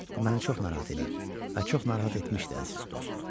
Bu məni çox narahat eləyir və çox narahat etmişdi, əziz dost.